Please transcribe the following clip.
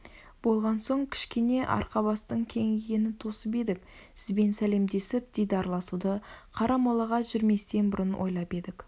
болған соң кішкене арқа-бастың кеңігенін тосып едік сізбен сәлемдесіп дидарласуды қарамолаға жүрместен бұрын ойлап едік